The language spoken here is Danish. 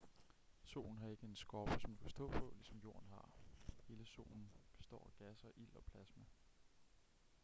solen har ikke en skorpe som du kan stå på ligesom jorden har hele solen består af gasser ild og plasma